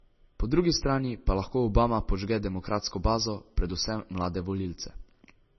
Po drugi strani pa lahko Obama podžge demokratsko bazo, predvsem mlade volivce.